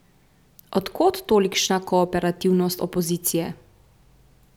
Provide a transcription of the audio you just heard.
Od kod tolikšna kooperativnost opozicije?